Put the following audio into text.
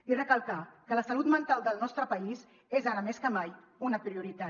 i recalcar que la salut mental del nostre país és ara més que mai una prioritat